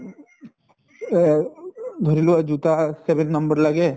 ধৰি লৱা জোতা seven number লাগে